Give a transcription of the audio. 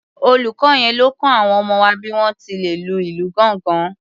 Olùkọ yẹn ló kọ àwọn ọmọ wa bí wọ́n ti lè lu ìlù gángan.